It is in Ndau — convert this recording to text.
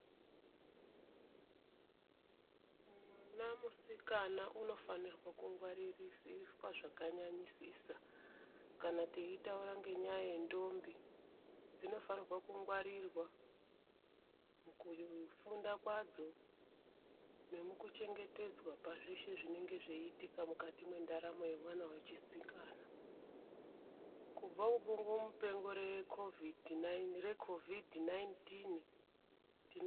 Mwana musikana unofanirwa kungwaririsiswa zvakanyanyisisa kana teitaura zvenyaya yendombi pakufunda kwadzo nepazveshe zvinenge zveiitika mukati mwendaramo yemwana wechisikana. Kubva kubungupengo reCovid 19 tino.....